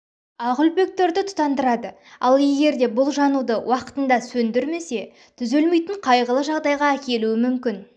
ақ үлпектерді тұтандырады ал егер де бұл жануды уақытында сөндірмесе түзелмейтін қайғылы жағдайға әкелуі мүмкін